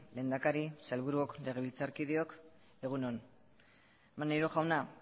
lehendakari sailburuok legebiltzarkideok egun on maneiro jauna